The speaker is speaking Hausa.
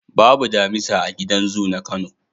Babu damisa a gidan zu na Kano.